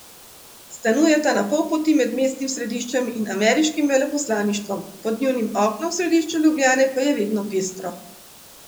Stanujeta na pol poti med mestnim središčem in ameriškim veleposlaništvom, pod njunim oknom v središču Ljubljane pa je vedno pestro.